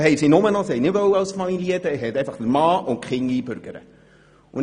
Dann wollten sie einfach den Mann und die Kinder einbürgern lassen.